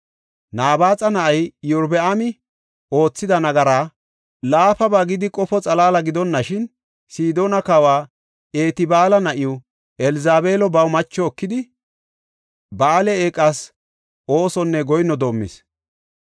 Nabaaxa na7ay Iyorbaami oothida nagaraa laafaba gidi qofo xalaala gidonashin, Sidoona kawa Etbaala na7iw Elzabeelo baw macho ekidi, Ba7aale eeqas oosonne goyinno doomis.